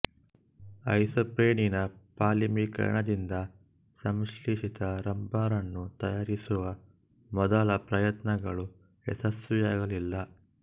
ಐಸೊಪ್ರೀನಿನ ಪಾಲಿಮೆರೀಕರಣದಿಂದ ಸಂಶ್ಲೇಷಿತ ರಬ್ಬರನ್ನು ತಯಾರಿಸುವ ಮೊದಲ ಪ್ರಯತ್ನಗಳು ಯಶಸ್ವಿಯಾಗಲಿಲ್ಲ